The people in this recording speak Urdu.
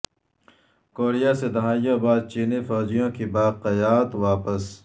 کوریا سے دہائیوں بعد چینی فوجیوں کی باقیات واپس